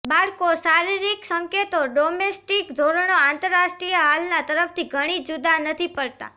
બાળકો શારીરિક સંકેતો ડોમેસ્ટિક ધોરણો આંતરરાષ્ટ્રીય હાલના તરફથી ઘણી જુદા નથી પડતા